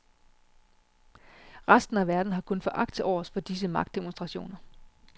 Resten af verden har kun foragt til overs for disse magtdemonstrationer.